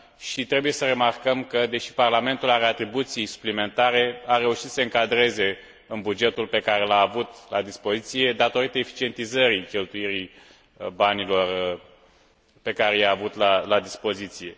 și trebuie să remarcăm că, deși Parlamentul are atribuții suplimentare, a reușit să se încadreze în bugetul pe care l a avut la dispoziție, datorită eficientizării cheltuielii banilor pe care i a avut la dispoziție.